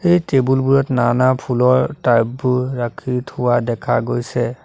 এই টেবুলবোৰত নানা ফুলৰ টাববোৰ ৰাখি থোৱা দেখা গৈছে।